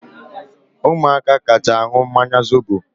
Umuaka kacha aṅụ mmanya zobo